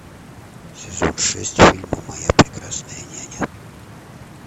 сезон шесть фильма моя прекрасная няня